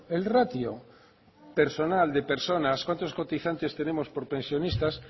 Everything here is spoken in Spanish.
el ratio personal de personas cuántos cotizantes tenemos por pensionistas